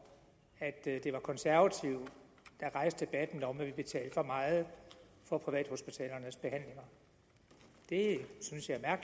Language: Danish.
at det var de konservative der rejste debatten om at vi betalte for meget for privathospitalernes behandlinger det synes jeg er